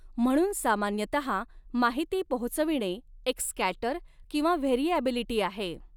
म्हणून सामान्यतहा माहिती पोहचविणे एक स्कॅटर किंवा व्हेरीऍबिलिटी आहे.